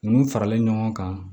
Nunnu faralen ɲɔgɔn kan